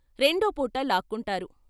రెండోపూట లాక్కొంటారు.